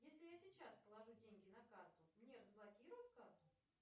если я сейчас положу деньги на карту мне разблокируют карту